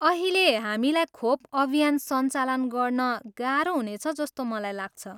अहिले, हामीलाई खोप अभियान सञ्चालन गर्न गाह्रो हुनेछ जस्तो मलाई लाग्छ।